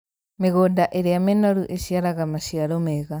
Mĩgũnda ĩrĩra mĩnoru ĩciaraga maciaro mega